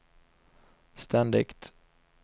ständigt